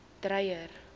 dreyer